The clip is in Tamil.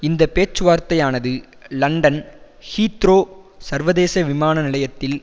இந்த பேச்சுவார்த்தையானது லண்டன் ஹீத்ரோ சர்வதேச விமான நிலையத்தில்